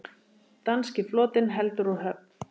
Danski flotinn heldur úr höfn!